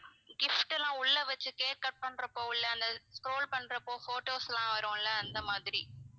gift எல்லாம் உள்ள வச்சு cake cut பண்றப்போ உள்ள அந்த scroll பண்ற அப்போ photos லாம் வரும்ல அந்த மாதிரி